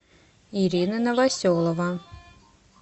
ирина новоселова